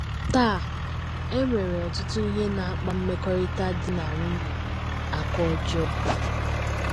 Taa, e nwere ọtụtụ ihe na - akpa mmekọrịta di na nwunye aka ọjọọ.